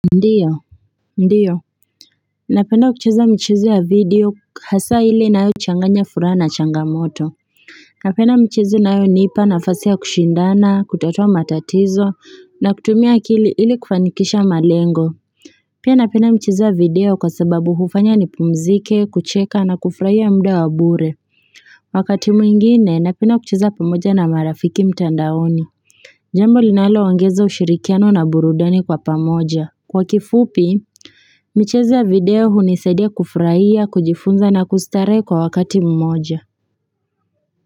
Ndiyo napenda kucheza mchezo ya video hasa ile inayochanganya furaha na changamoto napenda mchezo inayonipanafasi i ya kushindana kutatua matatizo na kutumia akili ili kufanikisha malengo pia napenda mchezo ya video kwa sababu hufanya nipumzike kucheka na kufuraia mda wa bure wakati mwingine napenda kucheza pamoja na marafiki mtandaoni jambo linalo ongeza ushirikiano na burudani kwa pamoja kwa kifupi michezo ya video hunisaidia kufuraia, kujifunza na kustare kwa wakati mmoja.